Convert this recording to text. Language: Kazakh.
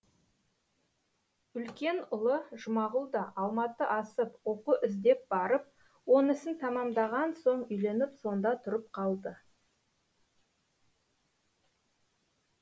үлкен ұлы жұмағұл да алматы асып оқу іздеп барып онысын тәмамдаған соң үйленіп сонда тұрып қалды